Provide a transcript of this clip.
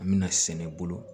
An bɛna sɛnɛ bolo